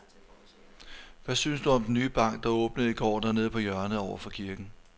Hvad synes du om den nye bank, der åbnede i går dernede på hjørnet over for kirken?